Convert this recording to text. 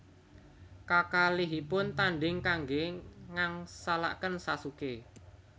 Kakalihipun tanding kangge ngangsalaken Sasuke